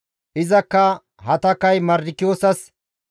Izakka Hatakay Mardikiyoosas,